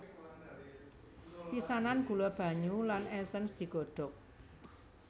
Pisanan gula banyu lan esens digodhok